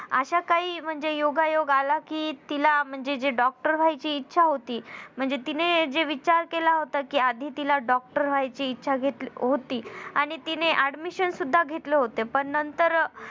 अशा काही म्हणजे योगायोग आला कि तिला म्हणजे जी doctor व्हायची इच्छा होती म्हणजे तिने जे विचार केला होता कि आधी तिला doctor व्हायची इच्छा घेतल होती. आणि तिने admission सुद्धा घेतल होत पण नंतर